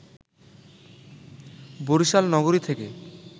বরিশাল নগরী থেকে